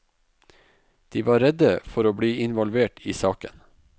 De var redde for å bli involvert i saken.